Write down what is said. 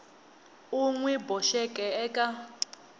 u n wi boxeke eka